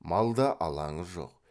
малда алаңы жоқ